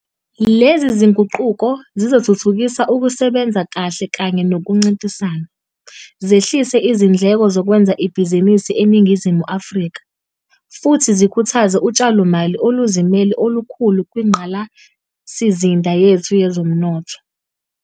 Lezi zinguquko zizothuthukisa ukusebenza kahle kanye nokuncintisana, zehlise izindleko zokwenza ibhizinisi eNingizimu Afrika, futhi zikhuthaze utshalomali oluzimele olukhulu kwingqalasizinda yethu yezomnotho.